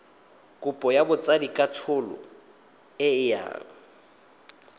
kopo ya botsadikatsholo e yang